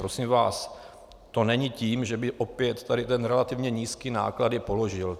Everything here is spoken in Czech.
Prosím vás, to není tím, že by opět tady ten relativně nízký náklad je položil.